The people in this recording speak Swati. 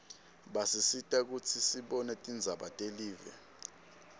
basisita kutsi sibone tindzaba telive